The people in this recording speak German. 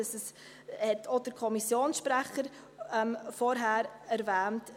Dies hat auch der Kommissionssprecher vorhin erwähnt.